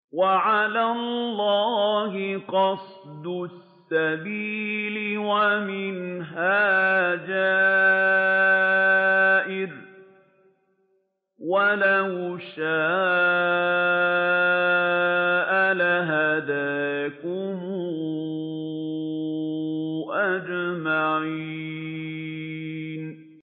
وَعَلَى اللَّهِ قَصْدُ السَّبِيلِ وَمِنْهَا جَائِرٌ ۚ وَلَوْ شَاءَ لَهَدَاكُمْ أَجْمَعِينَ